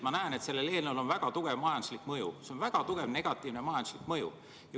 Ma näen, et sellel eelnõul on väga tugev majanduslik mõju, sellel on väga tugev negatiivne majanduslik mõju.